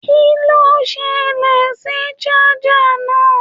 Kin ló ṣẹlẹ sí saja náà?